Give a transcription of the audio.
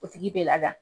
O tigi bɛ laada